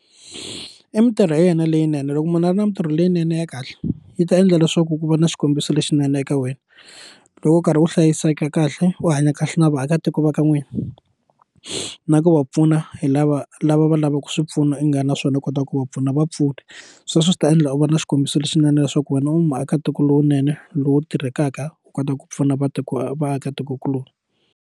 I mitirho ya yena leyinene loko munhu a ri na mitirho leyinene ya kahle yi ta endla leswaku ku va na xikombiso lexinene eka wena loko u karhi u hlayiseka kahle u hanya kahle na vaakatiko va ka n'wina na ku va pfuna hi lava lava va lavaku swi pfuno u nga na swona u kota ku va pfuna vapfuni sweswo swi ta endla u va na xikombiso lexinene leswaku wena u maakatiko lowunene lowu tirhekaka u kota ku pfuna vaakatikokulorhi.